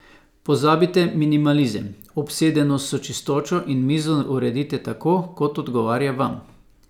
Pozabite minimalizem, obsedenost s čistočo in mizo uredite tako, kot odgovarja vam.